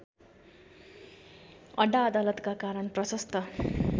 अड्डाअदालतका कारण प्रशस्त